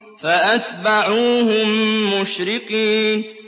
فَأَتْبَعُوهُم مُّشْرِقِينَ